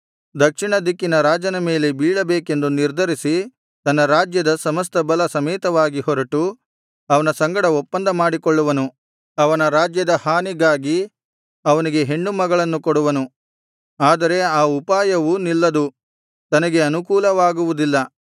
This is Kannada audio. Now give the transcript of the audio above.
ದಕ್ಷಿಣ ದಿಕ್ಕಿನ ರಾಜನ ಮೇಲೆ ಬೀಳಬೇಕೆಂದು ನಿರ್ಧರಿಸಿ ತನ್ನ ರಾಜ್ಯದ ಸಮಸ್ತ ಬಲ ಸಮೇತನಾಗಿ ಹೊರಟು ಅವನ ಸಂಗಡ ಒಪ್ಪಂದ ಮಾಡಿಕೊಳ್ಳುವನು ಅವನ ರಾಜ್ಯದ ಹಾನಿಗಾಗಿ ಅವನಿಗೆ ಹೆಣ್ಣು ಮಗಳನ್ನು ಕೊಡುವನು ಆದರೆ ಆ ಉಪಾಯವೂ ನಿಲ್ಲದು ತನಗೆ ಅನುಕೂಲವಾಗುವುದಿಲ್ಲ